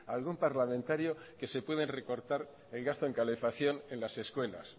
a algún parlamentario que se pueden recortar el gasto en calefacción en las escuelas